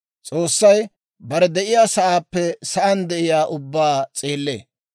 S'oossay bare de'iyaasaappe sa'aan de'iyaa ubbaa s'eellee.